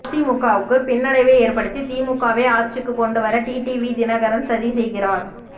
அதிமுகவுக்கு பின்னடைவை ஏற்படுத்தி திமுகவை ஆட்சிக்குக் கொண்டு வர டிடிவி தினகரன் சதி செய்கிறாா்